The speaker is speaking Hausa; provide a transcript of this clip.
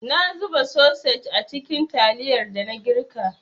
Na zuba sosej a cikin taliyar dana girka.